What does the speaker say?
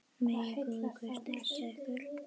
Megi góður Guð styrkja ykkur.